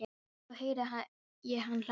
Og svo heyri ég hann hlæja.